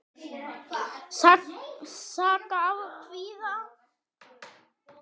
Saga af kvíða.